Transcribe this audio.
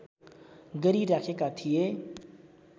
गरिराखेका थिए